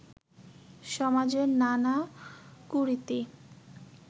সমাজের নানা কুরীতি